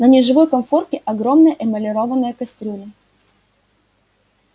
на неживой конфорке огромная эмалированная кастрюля